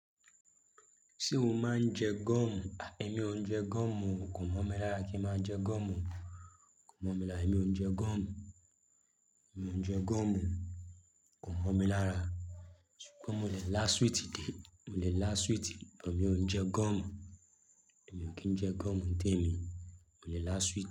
Ṣé o máa ń jẹ goọ̀mù? Èmi ò ń jẹ goọ̀mù, kò mọ̀ mi lára kí ń máa jẹ gúoọ̀mù. Kò mọ̀ mi lára, èmi ò ń jẹ goọ̀mù. Èmi ò ń jẹ goọ̀mù, kò mọ̀ mi lára. Ṣùgbọ́n mo le lá sweeti dé, mo le lá sweeti, bó mi ò ń jẹ goọ̀mù. Èmi ò kì í jẹ goọ̀mù ń té mi, mo le lá sweeti.